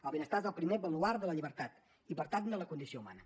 el benestar és el primer baluard de la llibertat i per tant de la condició humana